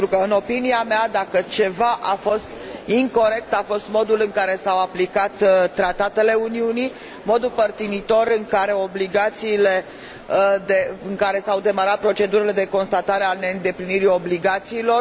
În opinia mea, dacă ceva a fost incorect, a fost modul în care s au aplicat tratatele Uniunii, modul părtinitor și modul preferențial în care s au demarat procedurile de constatare a neîndeplinirii obligațiilor.